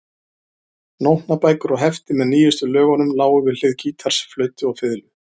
Nótnabækur og hefti með nýjustu lögunum lágu við hlið gítars, flautu og fiðlu.